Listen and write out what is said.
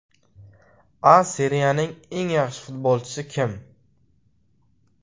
A Seriyaning eng yaxshi futbolchisi kim?